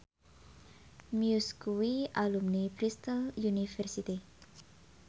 Muse kuwi alumni Bristol university